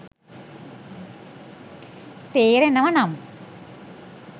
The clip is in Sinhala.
තේරෙනව නම්